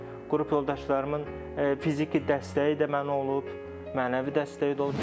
Qrup yoldaşlarımın fiziki dəstəyi də mənə olub, mənəvi dəstəyi də olub.